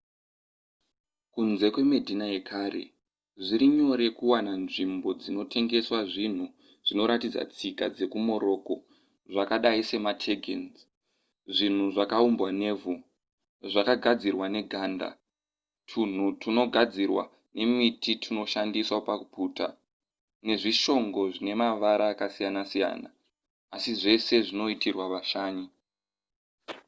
kunze kwemedina yekare zviri nyore kuwana nzvimbo dzinotengeswa zvinhu zvinoratidza tsika dzekumorocco zvakadai sematagines zvinhu zvakaumbwa nevhu zvakagadzirwa neganda tunhu tunogadzirwa nemiti tunoshandiswa pakuputa nezvishongo zvine mavara akasiyana-siyana asi zvese zvinoitirwa vashanyi